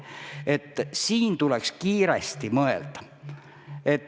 Üldiselt tuleks kiiresti mõelda.